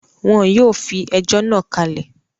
Wọ́n yóò fi ẹjọ́ náà kalẹ̀